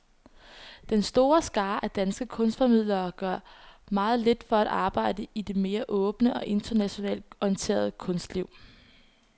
Den store skare af danske kunstformidlere gør meget lidt for at arbejde i det mere åbne og internationalt orienterede kunstliv.